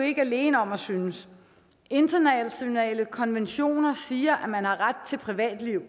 ikke alene om at synes internationale konventioner siger at man har ret til privatliv